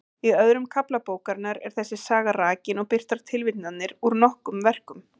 Í öðrum kafla bókarinnar er þessi saga rakin og birtar tilvitnanir úr nokkrum verkum.